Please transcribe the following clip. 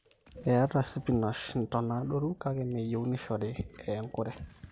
eeta spinash intona adorru kake meyie nishori eya enkurre